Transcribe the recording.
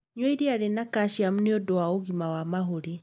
Nyua iria rĩna caciamu nĩ ũndũ wa ũgima wa mahũri.